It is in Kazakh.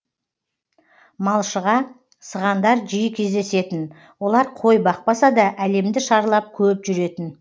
малшыға сығандар жиі кездесетін олар қой бақпаса да әлемді шарлап көп жүретін